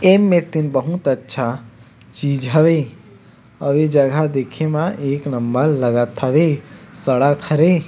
ऐ मेर तेन बहुत अच्छा चीज हवे आऊ ये जगह देखे म एक नंबर लगत हवे सड़क हरे--